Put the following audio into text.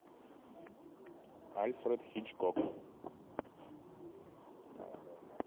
альфред хичкок